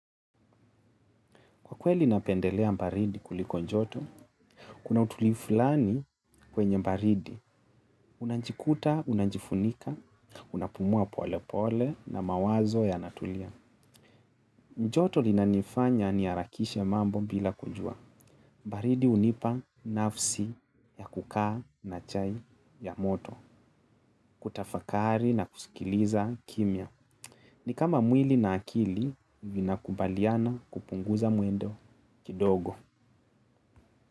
Kwa kweli napendelea baridi kuliko joto, kuna utulivu fulani kwenye baridi. Unajikuta, unajifunika, unapumua pole pole na mawazo yanatulia. Joto linanifanya niharakishe mambo bila kujua. Baridi hunipa nafsi ya kukaa na chai ya moto, kutafakari na kusikiliza kimya. Ni kama mwili na akili vina kubaliana kupunguza mwendo kidogo.